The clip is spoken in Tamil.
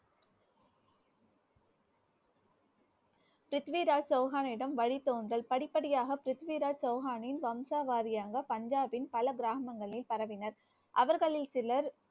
பிருத்திவிராஜ் சௌகானிடம் வழி தோன்றல் படிப்படியாக பிருத்திவிராஜ் சௌகானின் வம்சாவாரியாக பஞ்சாபின் பல கிராமங்களில் பரவினர். அவர்களில் சிலர்